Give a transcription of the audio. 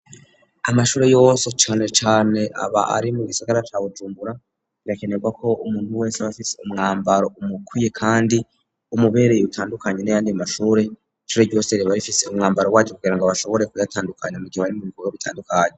Amashuri yose canecane aba ari mu gisagara ca Bujumbura, bigakenerwa ko umuntu wese bafise umwambaro umukwiye kandi umubereye utandukanye nayandi mashuri, ishure ryose riba rifise umwambaro waryo kugira ngo bashobore kubatandukanya mu gihe bari mu bikobwa bitandukanye.